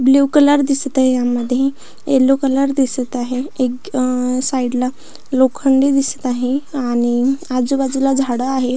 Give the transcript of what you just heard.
Blue colour दिसत आहे यामध्ये यल्लो कलर दिसत आहे एक अह साइड ला लोखंड ही दिसत आहे आणि आजूबाजूला झाड आहे.